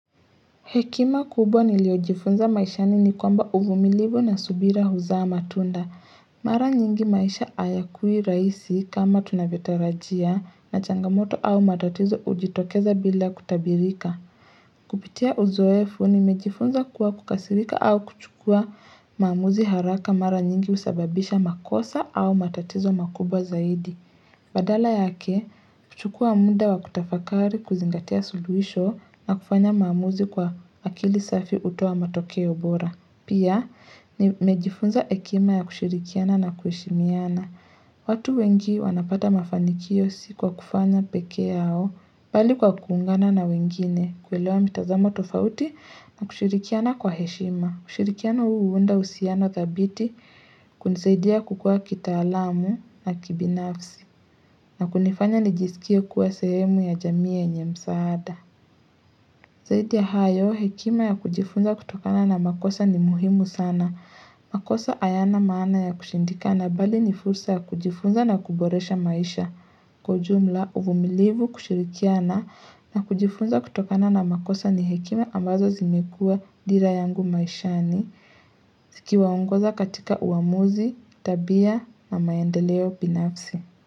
Hekima kubwa niliyojifunza maishani ni kwamba uvumilivu na subira huzaa matunda. Mara nyingi maisha hayakui rahisi kama tunavyotarajia na changamoto au matatizo hujitokeza bila kutabirika. Kupitia uzoefu nimejifunza kuwa kukasirika au kuchukua maamuzi haraka mara nyingi husababisha makosa au matatizo makubwa zaidi. Badala yake, huchukua muda wa kutafakari kuzingatia suluhisho na kufanya maamuzi kwa akili safi hutoa matokeo bora. Pia, nimejifunza hekima ya kushirikiana na kuheshimiana. Watu wengi wanapata mafanikio si kwa kufanya peke yao, bali kwa kuungana na wengine, kuelewa mitazamo tofauti na kushirikiana kwa heshima. Ushirikiano huu huunda uhusiano dhabiti, kunisaidia kukua kitaalamu na kibinafsi, na kunifanya nijisikie kuwa sehemu ya jamii yenye msaada. Zaidi ya hayo, hekima ya kujifunza kutokana na makosa ni muhimu sana. Makosa hayana maana ya kushindikana bali ni fursa ya kujifunza na kuboresha maisha. Kwa ujumla, uvumilivu kushirikiana na kujifunza kutokana na makosa ni hekima ambazo zimekua dira yangu maishani. Zikiwaongoza katika uamuzi, tabia na maendeleo binafsi.